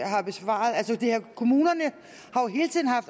har besvaret altså kommunerne